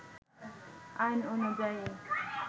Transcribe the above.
আইন অনুযায়ী